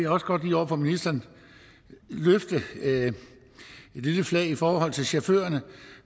også godt lige over for ministeren løfte et lille flag i forhold til chaufførerne